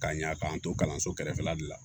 K'a ɲa k'an to kalanso kɛrɛfɛla de la